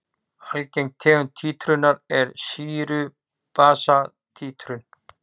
Algeng tegund títrunar er sýru-basa títrun.